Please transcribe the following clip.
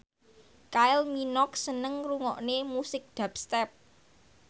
Kylie Minogue seneng ngrungokne musik dubstep